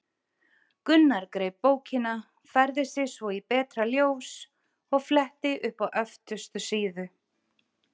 Gunnar greip bókina, færði sig svo í betra ljós og fletti upp á öftustu síðu.